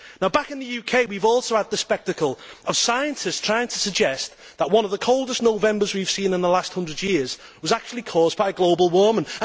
Back in the UK, we have also had the spectacle of scientists trying to suggest that one of the coldest Novembers we have seen in the last hundred years was actually caused by global warming.